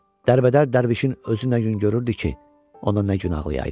Dərbədər dərvişin özü nə yüngürürdü ki, ona nə gün ağlayaydı.